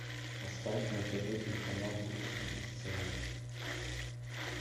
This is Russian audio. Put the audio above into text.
поставь на тв телеканал русский бестселлер